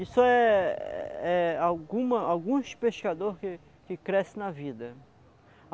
Isso é é alguma alguns pescador que que cresce na vida.